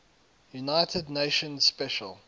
united nations special